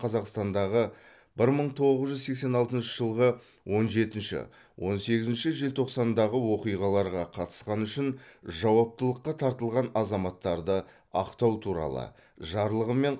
қазақстандағы бір мың тоғыз жүз сексен алтыншы жылғы он жетінші он сегізінші желтоқсандағы оқиғаларға қатысқаны үшін жауаптылыққа тартылған азаматтарды ақтау туралы жарлығымен